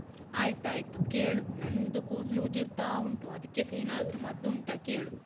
ಆಯ್ತಾಯ್ತು ಕೇಳು. ನಂದು ಕೂದ್ಲು ಉದುರ್ತಾ ಉಂಟು, ಅದ್ಕೇಸ ಏನಾದ್ರೂ ಮದ್ದುಂಟ ಕೇಳು.